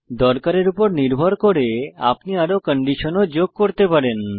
দরকারের উপর নির্ভর করে আপনি আরো কন্ডিশন ও যোগ করতে পারেন